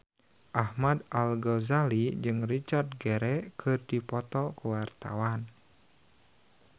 Ahmad Al-Ghazali jeung Richard Gere keur dipoto ku wartawan